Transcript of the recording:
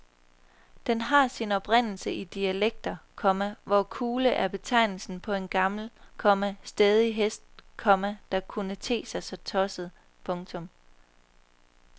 Den har sin oprindelse i dialekter, komma hvor kule er betegnelsen på en gammel, komma stædig hest, komma der kunne te sig tosset. punktum